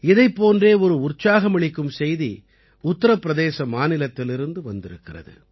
இதைப் போன்றே ஒரு உற்சாகமளிக்கும் செய்தி உத்தரப்பிரதேச மாநிலத்திலிருந்து வந்திருக்கிறது